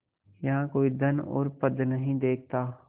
यहाँ कोई धन और पद नहीं देखता